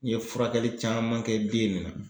N ye furakɛli caman kɛ den in na.